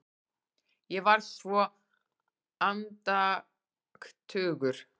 Ég var svo andaktugur.